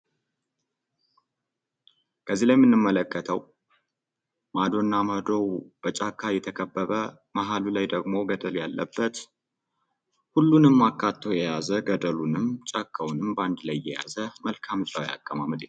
ከዚህ ላይ የምንመለከተው ማዶና ማዶ በጫካ የተከበበ መሀሉ ላይ ደግሞ ቅጠል ያለበት ሁሉንም አካቶ የያዘ ገደሉንም ጫካውንም አንድ ላይ የያዘ መልክዓ ምድራዊ አቀማመጥ ነው።